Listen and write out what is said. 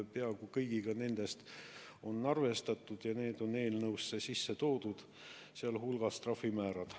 Peaaegu kõigi nendega on arvestatud ja need on eelnõusse sisse toodud, sh trahvimäärad.